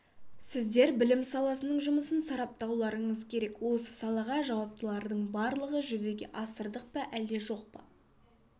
сіздер білім саласының жұмысын сараптауларыңыз керек осы салаға жауаптылардың барлығы жүзеге асырдық па әлде жоқ па